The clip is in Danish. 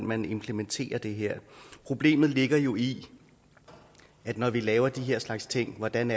man implementerer det her problemet ligger jo i når vi laver den her slags ting hvordan